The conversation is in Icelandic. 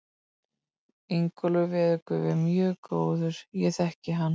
Ingólfur veðurguð er mjög góður, ég þekki hann.